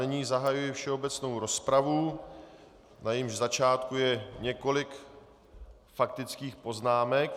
Nyní zahajuji všeobecnou rozpravu, na jejímž začátku je několik faktických poznámek.